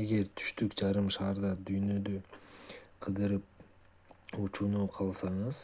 эгер түштүк жарым шарда дүйнөнү кыдырып учууну кааласаңыз